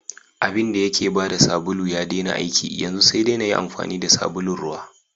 Abinda yake bada sabulu ya daina aiki, yanzu sai dai nayi amfani da sabulun ruwa.